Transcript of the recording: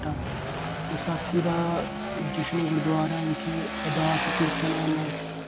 ਵਿਸਾਖੀ ਦਾ ਜਸ਼ਨ ਗੁਰੂਦੁਆਰਾ ਵਿਖੇ ਅਰਦਾਸ ਕੀਰਤਨ ਨਾਲ